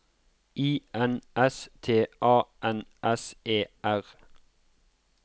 I N S T A N S E R